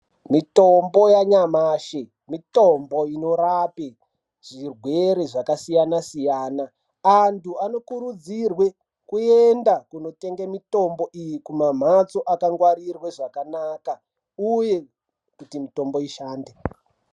Mitombo yanyamashi mitombo inorape zvirwere zvakasiyana-siyana, antu anokurudzirwe kuenda kunotenga mitombo iyi kumamhatso akangwarire zvakanaka uye kuti mitombo ishande.